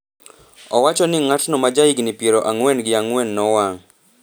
Owacho ni ng’atno ma ja higni piero ang'wen gi ang'wen nowang’